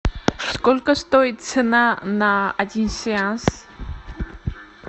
сколько стоит цена на один сеанс